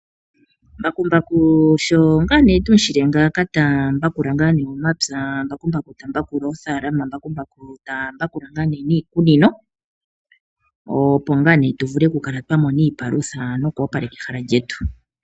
Mbakumbaku osho ngaa tu mu shile ngaaka ta pulula omapya, mbakumbaku ta pulula oofaalama, mbakumbaku ta pulula niikunino, opo tu vule okukala twa mona iipalutha noku opaleka ehala lyetu.